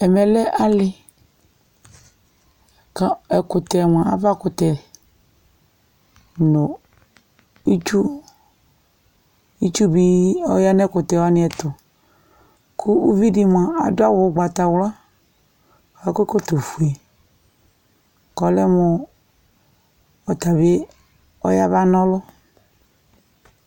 Ɛmɛ lɛ alɩ Ka ɛkʋtɛ mʋa avakʋtɛ nʋ itsu, itsu bɩ ɔyan'ɛkʋtɛwanɩɛtʋ Kʋ uvidɩ mʋa adʋ awʋ ʋgbatawla k'akɔ ɛkɔtɔfue; kɔlɛ mʋ ɔtabɩ ɔyaba n'ɔlʋ